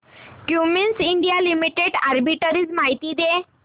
Cummins India limited arbitrage माहिती दे